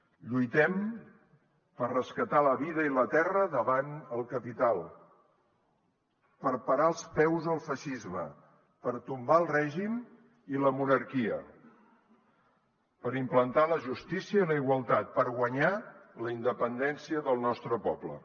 lluitem per rescatar la vida i la terra davant el capital per parar els peus al feixisme per tombar el règim i la monarquia per implantar la justícia i la igualtat per guanyar la independència del nostre poble